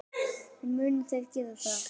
En munu þeir gera það?